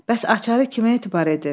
Bəs açarı kimə etibar edir?